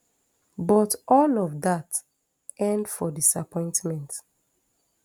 but all of dat end for disappointment